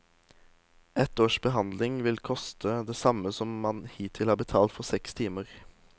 Ett års behandling vil koste det samme som man hittil har betalt for seks timer.